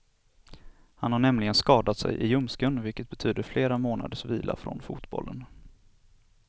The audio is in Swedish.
Han har nämligen skadat sig i ljumsken, vilket betyder flera månaders vila från fotbollen.